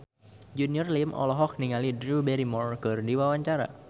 Junior Liem olohok ningali Drew Barrymore keur diwawancara